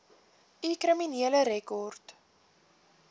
u kriminele rekord